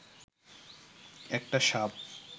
একটা সাপ